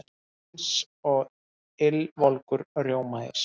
Eins og ylvolgur rjómaís.